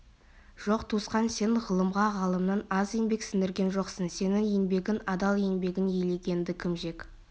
жоқ туысқан сен ғылымға ғалымнан аз еңбек сіңірген жоқсың сенің еңбегің адал еңбегін елегенді кім жек